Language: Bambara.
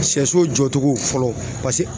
Sɛso jɔ cogo fɔlɔ paseke